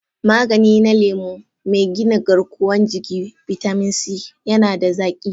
Magani na lemu, mai gina garkuwan jiki/bitamin C, yana da zaki.